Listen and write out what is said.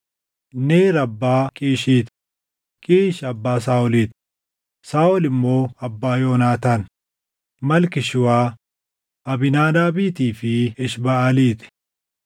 Neer abbaa Qiishii ti; Qiish abbaa Saaʼolii ti; Saaʼol immoo abbaa Yoonaataan, Malkii-Shuwaa, Abiinaadaabiitii fi Eshbaʼalii ti.